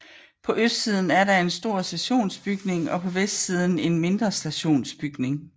På østsiden er der en stor stationsbygning og på vestsiden en mindre stationsbygning